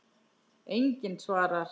Enginn svarar.